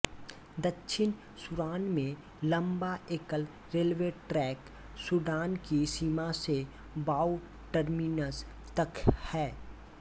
दक्षिण सूडान में लंबा एकल रेलवे ट्रैक सूडान की सीमा से वाऊ टर्मीनस तक है